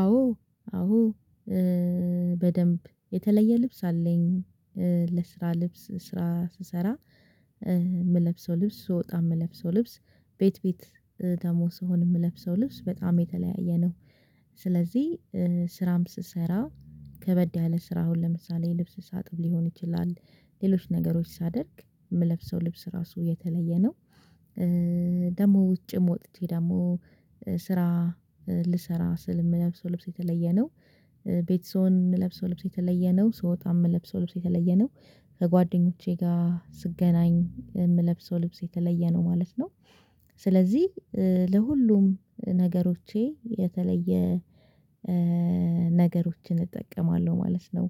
አዎ አዎ በደንብ የተለየ ልብስ አለኝ። ለስራ ልብስ ስራ ስሰራ የምለብሰው ልብስ ስወጣ የምለብሰው ልብስ ቤት ቤት ደግሞ ስሆን የምለብሰው ልብስ በጣም የተለያየ ነው። ስለዚህ ስራም ስሰራ ከበድ ያለ ስራ አሁን ለምሳሌ ልብስ ሳጥብ ሊሆን ይችላል። ሌሎች ነገሮች ሳደርግ የምለብሰው ልብስ ራሱ የተለየ ነው። ደግሞ ውጭም ወጥቼ ደግሞ ስራ ልሰራ ስል የምለብሰው ልብስ የተለየ ነው። ቤት ስሆን የምለብሰው ልብስ የተለየ ነው ስወጣ የምለብሰው ልብስ የተለየ ነው ከጓደኞቼ ጋር ስገናኝ የምለብሰው ልብስ የተለየ ነው ማለት ነው። ስለዚህ ለሁሉም ነገሮቼ የተለየ ነገሮችን እጠቀማለሁ ማለት ነው።